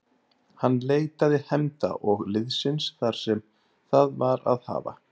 Hann leitaði hefnda og liðsinnis þar sem það var að hafa.